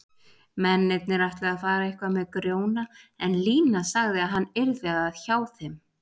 Mennirnir ætluðu að fara eitthvað með Grjóna en Lína sagði að hann yrði hjá þeim.